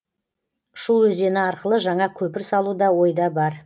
шу өзені арқылы жаңа көпір салу да ойда бар